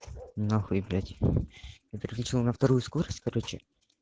нахуй блять я переключил на вторую скорость короче